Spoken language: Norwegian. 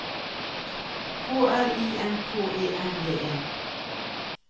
K L I N K E N D E